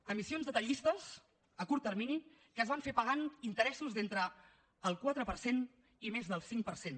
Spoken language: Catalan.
emissions detallistes a curt termini que es van fer pagant interessos d’entre el quatre per cent i més del cinc per cent